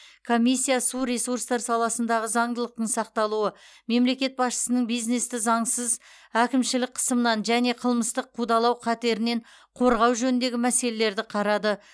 комиссия су ресурстар саласындағы заңдылықтың сақталуы мемлекет басшысының бизнесті заңсыз әкімшілік қысымнан және қылмыстық қудалау қатерінен корғау жөніндегі мәселелерді қарады